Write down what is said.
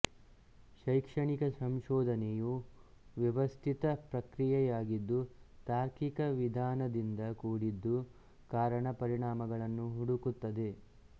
ಶೈಕ್ಷಣಿಕ ಸಂಶೋಧನೆಯು ವ್ಯವಸ್ಥಿತ ಪ್ರಕ್ರಿಯೆಯಾಗಿದ್ದು ತಾರ್ಕಿಕ ವಿಧಾನದಿಂದ ಕೂಡಿದ್ದು ಕಾರಣ ಪರಿಣಾಮಗಳನ್ನು ಹುಡುಕುತ್ತದೆ